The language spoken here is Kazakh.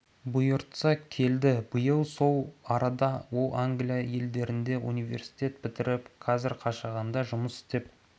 бұйыртса ке келді биыл сол арада ол англия елдерінде университет бітіріп қазір қашағанда жұмыс істеп